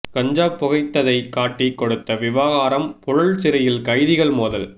கஞ்சா புகைத்ததை காட்டி கொடுத்த விவகாரம் புழல் சிறையில் கைதிகள் மோதல்